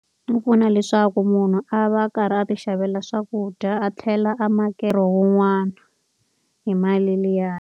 Wu pfuna leswaku munhu a va a karhi a ti xavela swakudya a tlhela a wun'wana hi mali liyani.